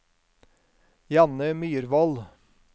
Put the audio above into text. Janne Myrvold